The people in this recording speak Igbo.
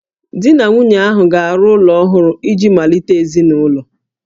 Di na nwunye ahụ ga-arụ ụlọ ọhụrụ iji malite ezinụlọ